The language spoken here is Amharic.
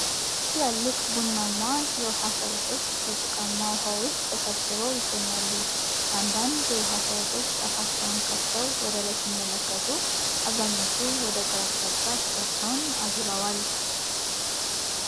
ትላልቅ ቡናማ የውሃ ፈረሶች በጭቃማ ውሃ ውስጥ ተሰባስበው ይገኛሉ። አንዳንድ የውሃ ፈረሶች አፋቸውን ከፍተው ወደ ላይ ሲመለከቱ፣ አብዛኞቹ ደግሞ ወደ ግራ አቅጣጫ ፊታቸውን አዙረዋል።